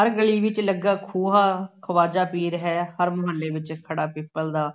ਹਰ ਗਲੀ ਵਿੱਚ ਲੱਗਾ ਖੂਹਾ, ਖਵਾਜ਼ਾ ਪੀਰ ਹੈ। ਹਰ ਮੁਹੱਲੇ ਵਿੱਚ ਖੜ੍ਹਾ ਪਿੱਪਲ ਦਾ